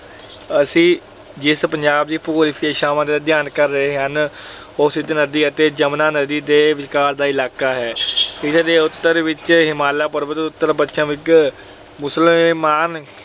ਅਸੀਂ ਜਿਸ ਪੰਜਾਬ ਦੇ ਭੂਗੋਲਿਕ ਵਿਸ਼ੇਸ਼ਤਾਵਾਂ ਦਾ ਅਧਿਐਨ ਕਰ ਰਹੇ ਹਾਂ, ਉਹ ਸਿੰਧ ਨਦੀ ਅਤੇ ਜਮੁਨੀ ਨਦੀ ਦੇ ਵਿਚਕਾਰ ਦਾ ਇਲਾਕਾ ਹੈ। ਇਸ ਦੇ ਉੱਤਰ ਵਿੱਚ ਹਿਮਾਲਾ ਪਰਬਤ, ਉੱਤਰ ਪੱਛਮ ਵਿੱਚ ਸੁਲੇਮਾਨ